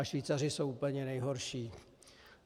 A Švýcaři jsou úplně nejhorší.